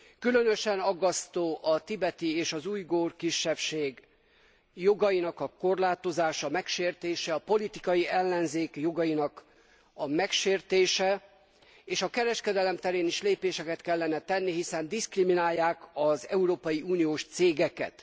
Különösen aggasztó a tibeti és az ujgur kisebbség jogainak a korlátozása, megsértése, a politikai ellenzék jogainak a megsértése. És a kereskedelem terén is lépéseket kellene tenni, hiszen diszkriminálják az európai uniós cégeket.